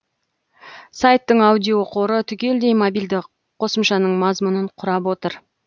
сайттың аудиоқоры түгелдей мобильді қосымшаның мазмұнын құрап отыр